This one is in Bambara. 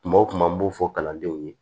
Kuma o kuma n b'o fɔ kalandenw ye